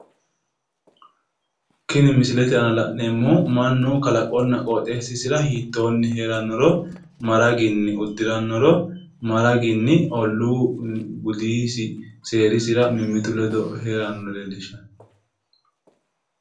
tini misilete aana la'neemohu mannu kalaqonna qoxeessisira hiittoonni heerannoro ma raginni uddirannoro ma raginni olluu budisi seerisira mimmitu ledo heerannoro leellishshanno